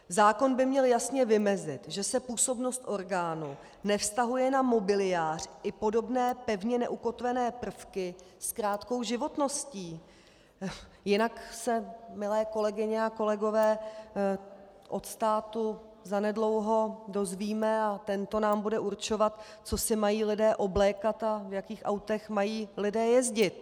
Zákon by měl jasně vymezit, že se působnost orgánu nevztahuje na mobiliář i podobné pevně neukotvené prvky s krátkou životností, jinak se, milé kolegyně a kolegové, od státu zanedlouho dozvíme a tento nám bude určovat, co si mají lidé oblékat a v jakých autech mají lidé jezdit.